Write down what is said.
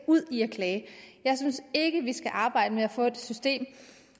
ud i en klage jeg synes ikke vi skal arbejde henimod at få et system